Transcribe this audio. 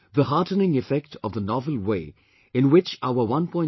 The heartening effect of the novel way in which our 1